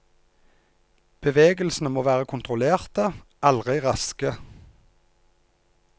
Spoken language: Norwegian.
Bevegelsene må være kontrollerte, aldri raske.